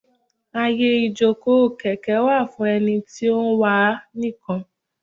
Àyè ìjókòó kèké wà fún ẹni tí ó ń wà á nìkan.